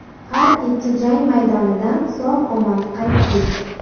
Har ikki jang maydonidan sog‘-omon qaytdik.